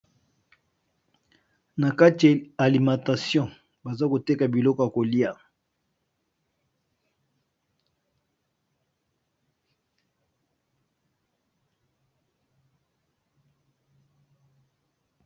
Nakati alimentation bazo teka Biloko yakolia